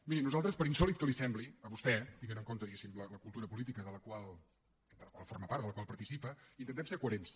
miri nosaltres per insòlit que li sembli a vostè tenint en compte diguéssim la cultura política de la qual forma part de la qual participa intentem ser coherents